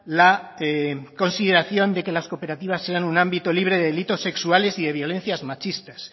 la consideración de que las cooperativas sean un ámbito libre de delitos sexuales y de violencias machistas